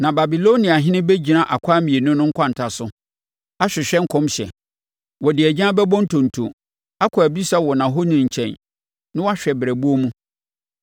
Na Babiloniahene bɛgyina akwan mmienu no nkwanta so ahwehwɛ nkɔmhyɛ. Ɔde agyan bɛbɔ ntonto, akɔ abisa wɔ nʼahoni nkyɛn, na wahwɛ brɛboɔ mu.